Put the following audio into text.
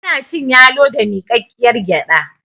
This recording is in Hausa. ana cin yalo da mikakkiyar gyada